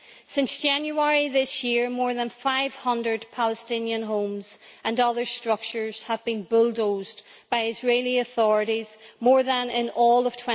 Since January this year, more than 500 Palestinian homes and other structures have been bulldozed by Israeli authorities more than in all of